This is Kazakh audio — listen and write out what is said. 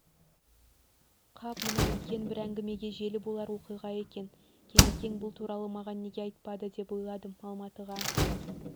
қап мынау үлкен бір әңгімеге желі болар оқиға екен кемекең бұл туралы маған неге айтпады деп ойладым алматыға